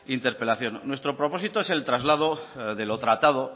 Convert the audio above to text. interpelación nuestro propósito es el traslado de lo tratado